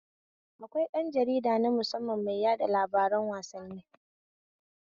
Akwai ɗan jarida nu musamman mai yaɗa labaran wasanni